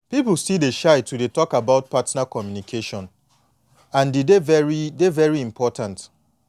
people still dey shy to dey talk about partner communication and e dey very dey very important